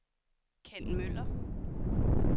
Ken Møller